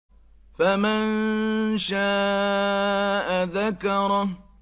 فَمَن شَاءَ ذَكَرَهُ